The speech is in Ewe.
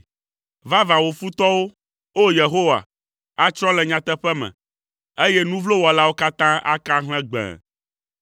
Vavã, wò futɔwo, o Yehowa, atsrɔ̃ le nyateƒe me, eye nu vlo wɔlawo katã aka ahlẽ gbẽe.